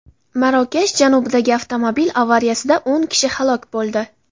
Marokash janubidagi avtomobil avariyasida o‘n kishi halok bo‘ldi.